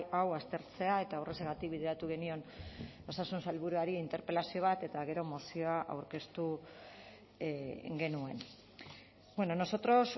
hau aztertzea eta horrexegatik bideratu genion osasun sailburuari interpelazio bat eta gero mozioa aurkeztu genuen bueno nosotros